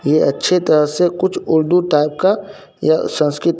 ये अच्छे तरह से कुछ उर्दू टाइप का या संस्कित --